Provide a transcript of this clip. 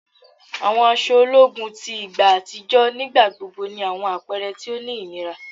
Àwọn aṣọ ológun ti igba àtijọ́ nígbà gbogbo ni àwọn àpẹrẹ ti o ní ìnira